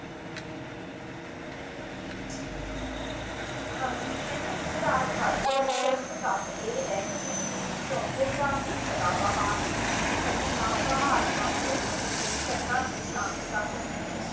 ਹਾਂ ਜੀ ਕਹਿੰਦੇ ਇਸ ਰਾਜ ਬਾਰੇ ਦਿਲਚਸਪ ਤੱਥ ਇਹ ਈਸੜੂ ਟੋਪੋਗ੍ਰਾਫੀ ਸਦਾਬਹਾਰ ਠੰਡੀਆਂ ਪਹਾੜੀਆਂ ਤੋਂ ਸਮੁੰਦਰੀ ਤੱਟਾਂ ਦੀ ਸ਼ਾਨੀ ਤੱਕ ਹੁੰਦੀ ਹੈ